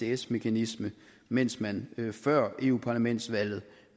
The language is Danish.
isds mekanisme mens man før europaparlamentsvalget